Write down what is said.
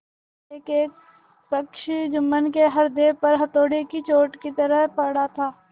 एकएक प्रश्न जुम्मन के हृदय पर हथौड़े की चोट की तरह पड़ता था